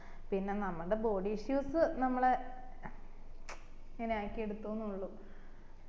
പിന്നെ നമ്മടെ body issues നമ്മളെ ച് മ്‌ചം ഇങ്ങനെ ആക്കി എടുത്തുന്നെ ഉള്ളു